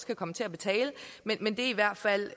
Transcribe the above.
kan komme til at betale men det er i hvert fald